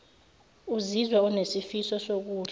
uzizwa unesifiso sokudla